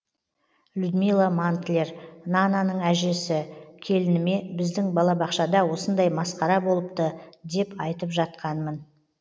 людмила мантлер нананың әжесі келініме біздің балабақшада осындай масқара болыпты деп айтып жатқанмын